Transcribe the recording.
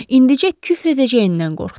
İndicə küfr edəcəyindən qorxdu.